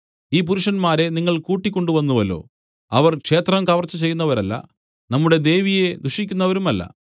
ഈ പുരുഷന്മാരെ നിങ്ങൾ കൂട്ടിക്കൊണ്ടുവന്നുവല്ലോ അവർ ക്ഷേത്രം കവർച്ച ചെയ്യുന്നവരല്ല നമ്മുടെ ദേവിയെ ദുഷിക്കുന്നവരുമല്ല